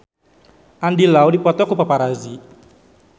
Andy Lau dipoto ku paparazi